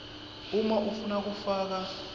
uma ufuna kufaka